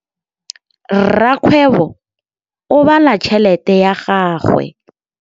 Rakgwêbô o bala tšheletê ya gagwe.